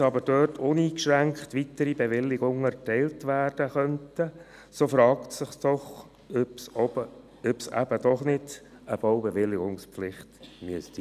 Wenn nun aber dort uneingeschränkt weitere Bewilligungen erteilt werden könnten, so fragt es sich doch, ob es eben doch nicht eine Baubewilligungspflicht geben müsste.